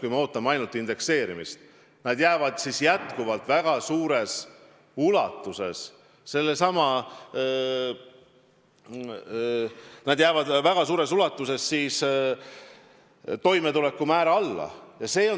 Kui me loodame ainult indekseerimise peale, siis pensionid püsivad ka edaspidi väga suures ulatuses toimetulekumäära piires.